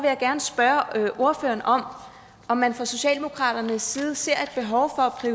jeg gerne spørge ordføreren om man fra socialdemokratiets side ser